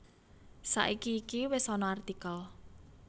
Saiki iki wis ana artikel